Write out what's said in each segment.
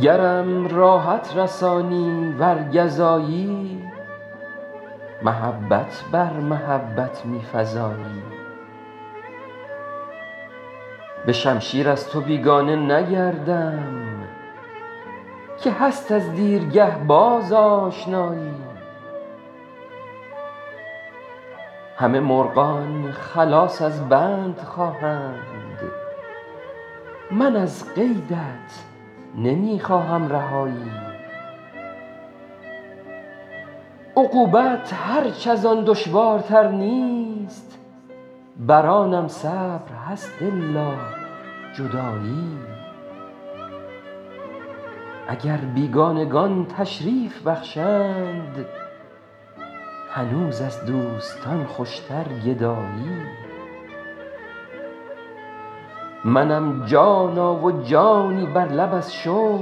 گرم راحت رسانی ور گزایی محبت بر محبت می فزایی به شمشیر از تو بیگانه نگردم که هست از دیرگه باز آشنایی همه مرغان خلاص از بند خواهند من از قیدت نمی خواهم رهایی عقوبت هرچ از آن دشوارتر نیست بر آنم صبر هست الا جدایی اگر بیگانگان تشریف بخشند هنوز از دوستان خوشتر گدایی منم جانا و جانی بر لب از شوق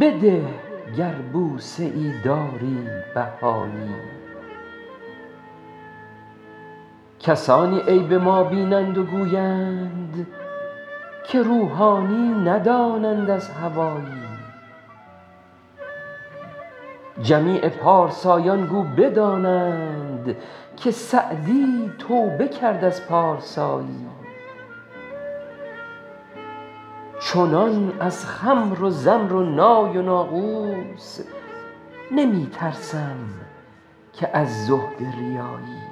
بده گر بوسه ای داری بهایی کسانی عیب ما بینند و گویند که روحانی ندانند از هوایی جمیع پارسایان گو بدانند که سعدی توبه کرد از پارسایی چنان از خمر و زمر و نای و ناقوس نمی ترسم که از زهد ریایی